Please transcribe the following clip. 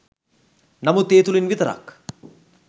නමුත් ඒ තුළින් විතරක්